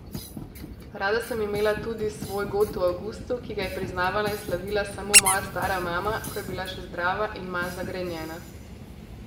Rada sem imela tudi svoj god v avgustu, ki ga je priznavala in slavila samo moja stara mama, ko je bila še zdrava in manj zagrenjena.